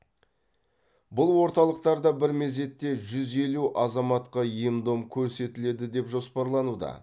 бұл орталықтарда бір мезетте жүз елу азаматқа ем дом көрсетіледі деп жоспарлануда